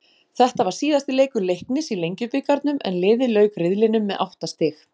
Þetta var síðasti leikur Leiknis í Lengjubikarnum en liðið lauk riðlinum með átta stig.